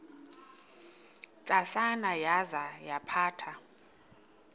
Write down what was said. ntsasana yaza yaphatha